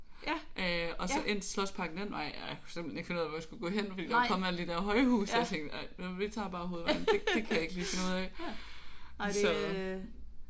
Øh og så ind til Slotsparken den vej jeg kunne simpelthen ikke finde ud af hvor jeg skulle gå hen fordi der var kommet alle de der højhuse. Jeg tænkte bare jamen vi tager hovedvejen det kan jeg ikke lige finde ud af så øh